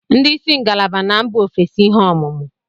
Ndị isi ngalaba na mba ofesi ihe ọmụmụ